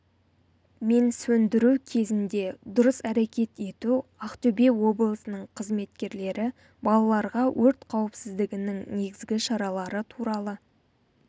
мен сөндіру кезінде дұрыс әрекет ету ақтөбе облысының қызметкерлері балаларға өрт қауіпсіздігінің негізгі шаралары туралы